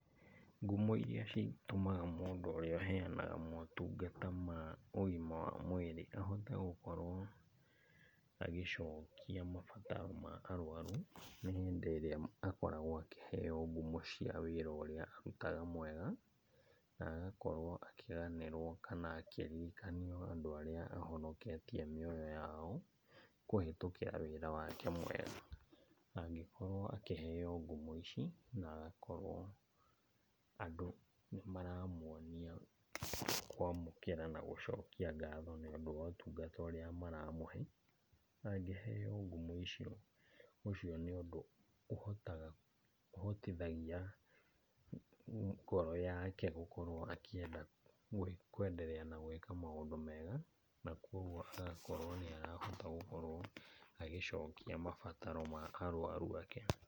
Ngumo iria citũmaga mũndũ ũrĩa ũheanaga motungata ma ũgima wa mwĩrĩ ahote gũkorwo agĩcokia mabataro ma arwaru, nĩ hĩndĩ ĩrĩa akoragwo akĩheo ngumo cia wĩra ũrĩa arutaga mwega, na agakorwo akĩganĩrwo kana akĩririkanio andũ arĩa ahonoketie mĩoyo yao kũhĩtũkĩra wĩra wake mwega. Angĩkorwo akĩheo ngumo ici na agakorwo andũ nĩmaramuonia kwamũkĩra na gũcokia ngatho nĩũndũ wotungata ũrĩa maramũhe. Angĩheo ngumo icio, ũcio nĩũndũ ũhotaga, ũhotithagia ngoro yake gũkorwo akĩenda kwenderea na gwĩka maũndũ mega. Na koguo agakorwo nĩ arahota gũkorwo agĩcokia mabataro ma arwaru ake.